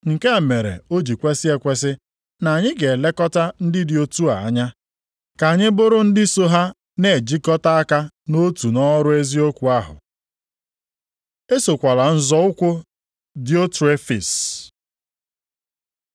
Nke a mere o ji kwesi ekwesi na anyị ga-elekọta ndị dị otu a anya ka anyị bụrụ ndị so ha na-ejikọta aka nʼotu nʼọrụ eziokwu ahụ. Esokwala nzọ ụkwụ Diotrefis